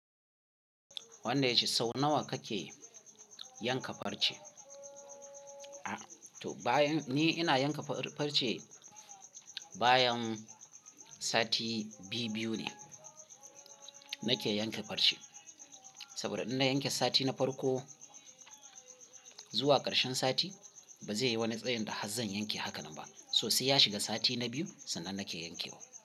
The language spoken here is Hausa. Wanda ya ci sau nawa kake yanka farce? A, to bayan ni ina yanka farce bayan sati biyu-biyu ne nake yanke farce. Saboda in na yanke sati na farko zuwa ƙarshen sati ba zai yi wani tsayin da har zan yanke hakanan ba. Sosai ya shiga sati na biyu sannan nake yankewa.